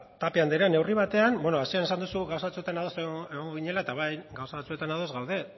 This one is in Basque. tapia anderea neurri batean bueno hasieran esan duzu gauza batzuetan ados egongo ginela eta bai gauza batzuetan ados gaude